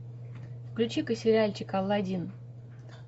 включи ка сериальчик аладдин